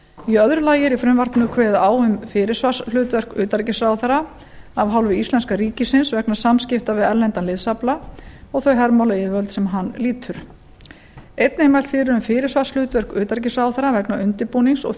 í öðru lagi er í frumvarpinu kveðið á um fyrirsvarshlutverk utanríkisráðherra af hálfu íslenska ríkisins vegna samskipta við erlendan liðsafla og þau hermálayfirvöld sem hann lýtur einnig er mælt fyrir um fyrirsvarshlutverk utanríkisráðherra vegna undirbúnings og